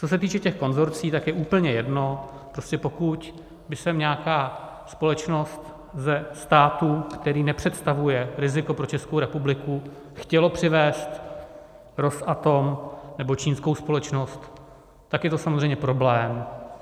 Co se týče těch konsorcií, tak je úplně jedno, prostě pokud by sem nějaká společnost ze státu, který nepředstavuje riziko pro Českou republiku, chtěla přivést Rosatom nebo čínskou společnost, tak je to samozřejmě problém.